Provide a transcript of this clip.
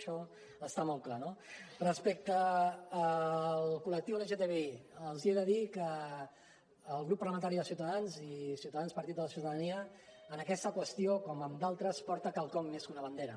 això està molt clar no respecte al col·lectiu lgtbi els he de dir que el grup parlamentari de ciutadans i ciutadans partit de la ciutadania en aquesta qüestió com en d’altres porta quelcom més que una bandera